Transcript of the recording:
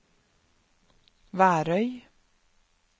Værøy